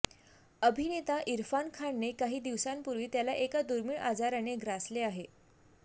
अभिनेता इरफान खानने काही दिवसांपूर्वी त्याला एका दुर्मिळ आजाराने ग्रासले आहे